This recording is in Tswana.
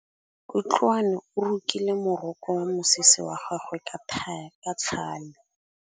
Kutlwanô o rokile morokô wa mosese wa gagwe ka tlhale.